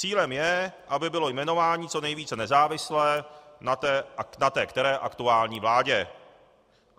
Cílem je, aby bylo jmenování co nejvíce nezávislé na té které aktuální vládě.